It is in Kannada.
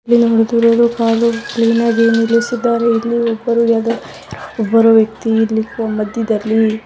ಇಲ್ಲಿ ಒಂದು ಕಾರು ನಿಲ್ಲಿಲಿಸಿದಾರೆ ಇನ್ನು ಒಬ್ಬರು ಯರೊ ವ್ಯಕ್ತಿ ಬರುತಿದ್ದಾರೆ ಇಲ್ಲಿ ಮದ್ಯದ್ದಲ್ಲಿ --